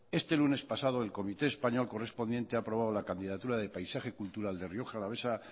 este lunes pasado el comité español correspondiente ha aprobado la candidatura de paisaje cultural de rioja alavesa